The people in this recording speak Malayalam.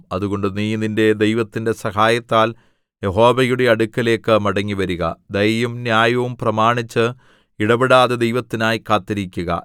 അതുകൊണ്ട് നീ നിന്റെ ദൈവത്തിന്റെ സഹായത്താൽ യഹോവയുടെ അടുക്കലേക്ക് മടങ്ങിവരുക ദയയും ന്യായവും പ്രമാണിച്ച് ഇടവിടാതെ ദൈവത്തിനായി കാത്തിരിക്കുക